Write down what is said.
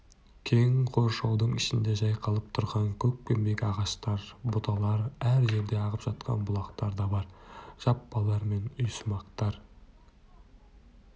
кең қоршаудың ішінде жайқалып тұрған көкпеңбек ағаштар бұталар әр жерде ағып жатқан бұлақтар да бар жаппалар мен үйсымақтар